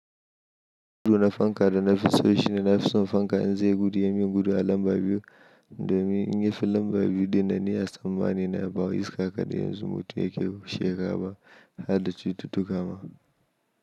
Gudu na fanka da na fi so shi ne na fi son fanka. In zai gudu ya mun gudu a lamba biyu domin in yi fi lamba biyu ɗinnan ni a tsammani na, ba wai iska kaɗai ya zo-- mutum yake shiga ba, har da cututtuka ma.